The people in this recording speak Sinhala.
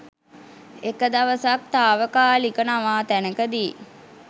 එක දවසක් තාවකාලික නවාතැනකදි